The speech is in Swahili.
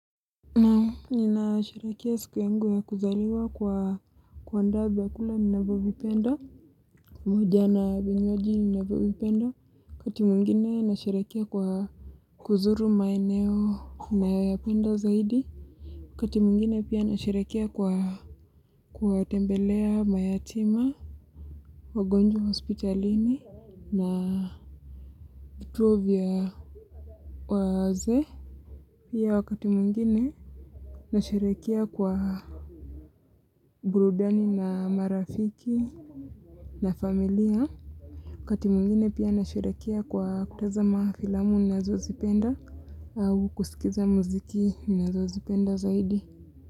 Ninasherekea siku yangu ya kuzaliwa kwa kwa kuandaa vyakula ninavyovipenda huja na vinywaji ninavyovipenda. Wakati mwengine nasherekea kwa kuzuru maeneo nayoyapenda zaidi waati mwengine pia nasherekea kwa kuwatembelea mayatima wagonjwa hospitalini na vituo vya wazee. Pia wakati mwengine nasherekea kwa burudani na marafiki na familia. Wakati mwengine pia nasherekea kwa kutazama filamu nazozipenda au kusikiza muziki nazozipenda zaidi.